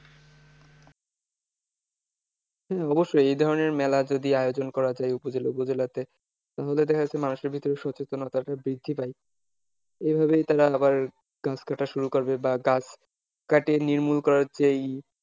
হ্যাঁ অবশ্যই এই ধরনের মেলার যদি আয়োজন করা যায় উপজেলা জেলা গুলোতে তাহলে দেখা যায় যে মানুষের ভিতরে সচেতনতাটা বৃদ্ধি পায় এইভাবেই তারা আবার গাছ কাটা শুরু করবে বা গাছ কেটে নির্মূল করার যে,